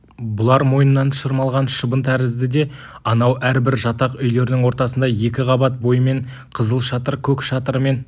бұлар мойнынан шырмалған шыбын тәрізді де анау әрбір жатақ үйлерінің ортасында екі қабат бойымен қызыл шатыр көк шатырымен